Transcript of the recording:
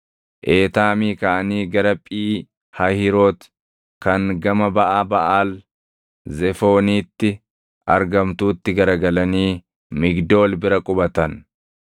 Eetaamii kaʼanii gara Phii Hahiiroti kan gama baʼa Baʼaal Zefooniitti argamtuutti garagalanii Migdool bira qubatan.